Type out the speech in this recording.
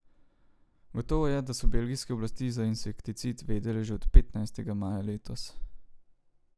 Gotovo je, da so belgijske oblasti za insekticid vedele že od petnajstega maja letos.